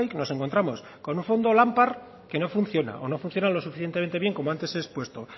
nos encontramos con un fondo lampar que no funciona o no funciona lo suficientemente bien como antes he expuesto